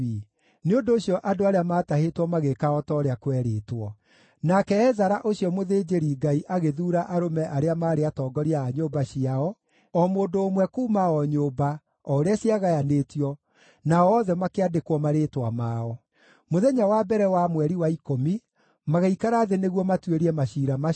Nĩ ũndũ ũcio andũ arĩa maatahĩtwo magĩĩka o ta ũrĩa kwerĩtwo. Nake Ezara ũcio mũthĩnjĩri-Ngai agĩthuura arũme arĩa maarĩ atongoria a nyũmba ciao, o mũndũ ũmwe kuuma o nyũmba, o ũrĩa ciagayanĩtio, nao othe makĩandĩkwo marĩĩtwa mao. Mũthenya wa mbere wa mweri wa ikũmi magĩikara thĩ nĩguo matuĩrie maciira macio,